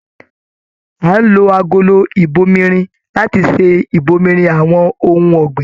A n lò agolo ibòmírin láti ṣe ibòmírin àwọn ohùn ọ̀gbìn.